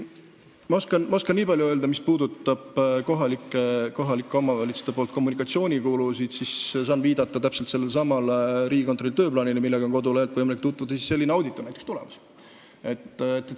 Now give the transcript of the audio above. Ma oskan öelda nii palju, et mis puudutab kohalike omavalitsuste kommunikatsioonikulusid, siis saan viidata täpselt sellelesamale Riigikontrolli tööplaanile – kodulehelt on võimalik sellega tutvuda –, et näiteks selline audit on tulemas.